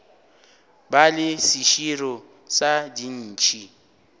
ba le seširo sa dintšhi